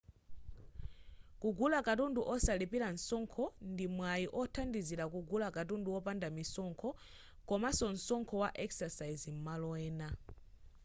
kugula katundu osalipira msonkho ndi mwayi othandizira kugula katundu wopanda misonkho komanso msonkho wa excise m'malo ena